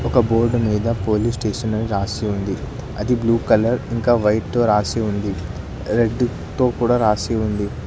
ఒక బోర్డు మీద police station అని రాసి ఉంది అది బ్లూ కలర్ ఇంకా వైట్ తో రాసి ఉంది రెడ్ తో కూడా రాసి ఉంది.